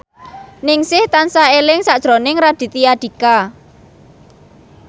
Ningsih tansah eling sakjroning Raditya Dika